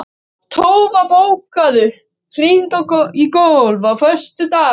Tófa, bókaðu hring í golf á föstudaginn.